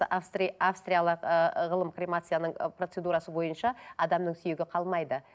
австриялық ыыы ғылым кремацияның ы процедурасы бойынша адамның сүйегі қалмайды